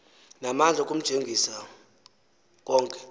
namandla okumjenxisa konke